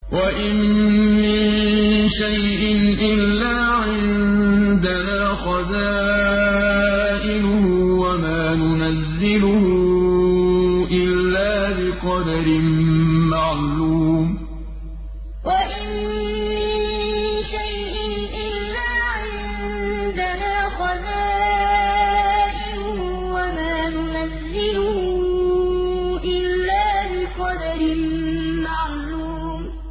وَإِن مِّن شَيْءٍ إِلَّا عِندَنَا خَزَائِنُهُ وَمَا نُنَزِّلُهُ إِلَّا بِقَدَرٍ مَّعْلُومٍ وَإِن مِّن شَيْءٍ إِلَّا عِندَنَا خَزَائِنُهُ وَمَا نُنَزِّلُهُ إِلَّا بِقَدَرٍ مَّعْلُومٍ